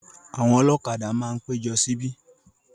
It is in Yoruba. Àwọn ọlọ́kadà máa péjọ síbi.